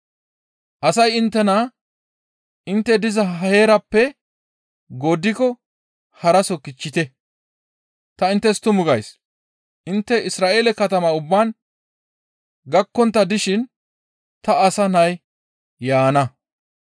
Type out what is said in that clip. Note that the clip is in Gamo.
Asay inttena intte diza heeraappe gooddiko haraso kichchite! Ta inttes tumu gays; intte Isra7eele katama ubbaa gakkontta dishin ta Asa Nay yaana.